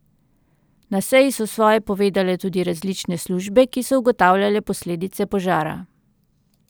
Na seji so svoje povedale tudi različne službe, ki so ugotavljale posledice požara.